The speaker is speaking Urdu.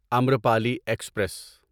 امرپالی ایکسپریس